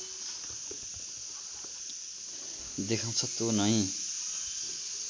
देखाउँछ त्यो नै